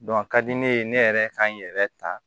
a ka di ne ye ne yɛrɛ ka n yɛrɛ ta